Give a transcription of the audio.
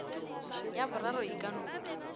ya boraro e ka no